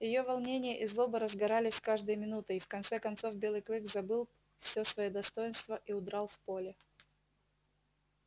её волнение и злоба разгорались с каждой минутой и в конце концов белый клык забыл всё своё достоинство и удрал в поле